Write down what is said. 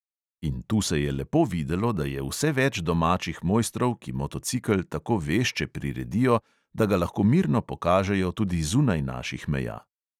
In tu se je lepo videlo, da je vse več domačih mojstrov, ki motocikel tako vešče priredijo, da ga lahko mirno pokažejo tudi zunaj naših meja.